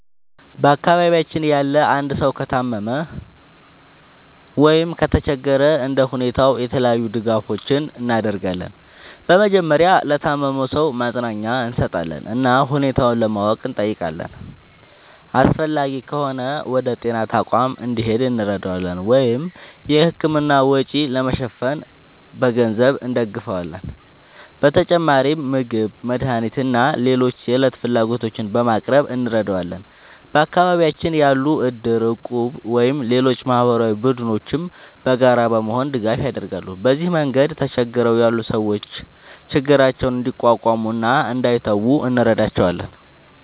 በአካባቢያችን ያለ አንድ ሰው ከታመመ ወይም ከተቸገረ እንደ ሁኔታው የተለያዩ ድጋፎችን እናደርጋለን። በመጀመሪያ ለታመመው ሰው ማጽናኛ እንሰጣለን እና ሁኔታውን ለማወቅ እንጠይቃለን። አስፈላጊ ከሆነ ወደ ጤና ተቋም እንዲሄድ እንረዳዋለን ወይም የሕክምና ወጪ ለመሸፈን በገንዘብ እንደግፋለን። በተጨማሪም ምግብ፣ መድኃኒት ወይም ሌሎች የዕለት ፍላጎቶችን በማቅረብ እንረዳዋለን። በአካባቢያችን ያሉ እድር፣ እቁብ ወይም ሌሎች ማህበራዊ ቡድኖችም በጋራ በመሆን ድጋፍ ያደርጋሉ። በዚህ መንገድ ተቸግረው ያሉ ሰዎች ችግራቸውን እንዲቋቋሙ እና እንዳይተዉ እንረዳቸዋለን።